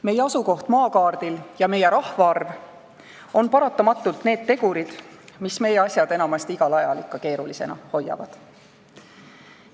Meie asukoht maakaardil ja meie rahvaarv on paratamatult need tegurid, mis meie asjad enamasti igal ajal ikka keerulisena hoiavad.